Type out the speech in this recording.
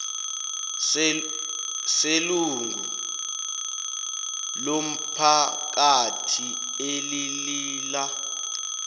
selungu lomphakathi elilila